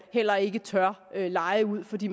heller ikke tør leje ud fordi